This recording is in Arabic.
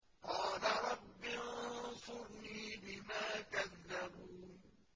قَالَ رَبِّ انصُرْنِي بِمَا كَذَّبُونِ